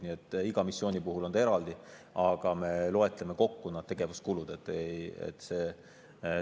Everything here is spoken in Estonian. Nii et iga missiooni puhul on need eraldi, aga me loeme need tegevuskulud kokku.